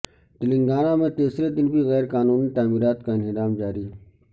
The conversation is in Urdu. تلنگانہ میں تیسرے دن بھی غیر قانونی تعمیرات کا انہدام جاری